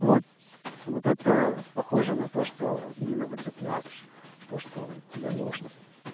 вот вот это похоже на то что именно получаешь то что тебе нужно